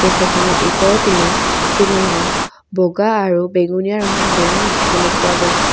ফেন খনৰ উপৰপিনে চিলিং ত বগা আৰু বেঙুণীয়া ৰঙৰ বেলুন দেখিবলৈ পোৱা গৈছে।